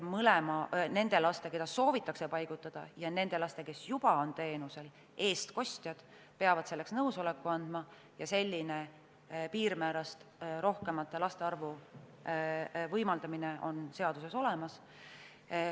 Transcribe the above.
Nende laste, keda soovitakse teenusele paigutada, ja nende laste, kes juba on teenusel, eestkostjad peavad selleks nõusoleku andma, selline piirmäärast rohkemate laste arvu võimalus on seaduses olemas.